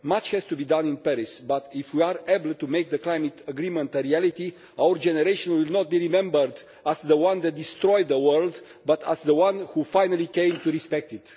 Much has to be done in Paris but if we are able to make the climate agreement a reality our generation will not be remembered as the one that destroyed the world but as the one that finally came to respect it.